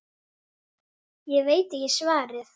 Ég veit ekki svarið.